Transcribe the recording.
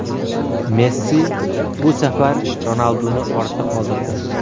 Messi bu safar Ronalduni ortda qoldirdi.